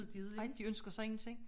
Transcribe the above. Ej de ønsker sig ingenting